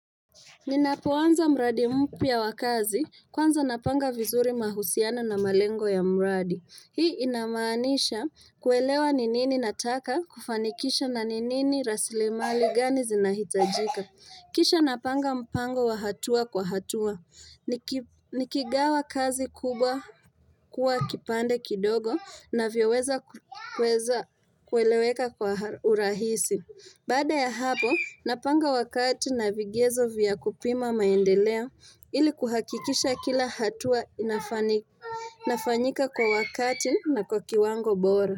Ninapoanza mradi mpya wa kazi kwanza napanga vizuri mahusiano na malengo ya mradi. Hii inamaanisha kuelewa ni nini nataka kufanikisha na ni nini rasilimali gani zinahitajika. Kisha napanga mpango wa hatua kwa hatua. Nikigawa kazi kubwa kuwa kipande kidogo inavyoweza kueleweka kwa urahisi. Baada ya hapo, napanga wakati na vigezo vya kupima maendeleo ili kuhakikisha kila hatua inafanyika kwa wakati na kwa kiwango bora.